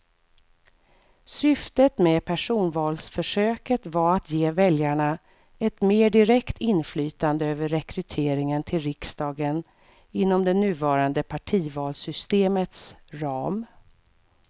Syftet med personvalsförsöket var att ge väljarna ett mer direkt inflytande över rekryteringen till riksdagen inom det nuvarande partivalssystemets ram.